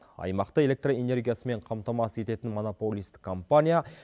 аймақты электр энергиясымен қамтамасыз ететін монополист компания